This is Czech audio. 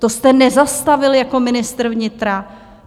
To jste nezastavil jako ministr vnitra?